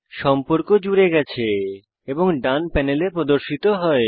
সম্পর্ক জুড়ে গেছে এবং ডান প্যানেলে প্রদর্শিত হয়